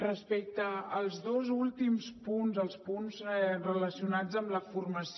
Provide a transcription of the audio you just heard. respecte als dos últims punts els punts relacionats amb la formació